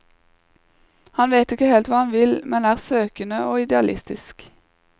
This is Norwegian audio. Han vet ikke helt hva han vil, men er søkende og idealistisk.